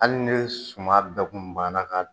Hali ni suman bɛɛ kun ban na k'a fo!